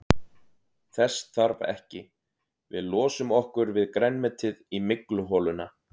Þess þarf ekki, við losum okkur við grænmetið í mygluholuna.